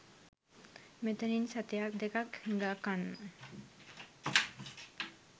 මෙතනින් සතයක් දෙකක් හිඟා කන්න